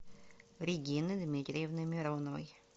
регины дмитриевны мироновой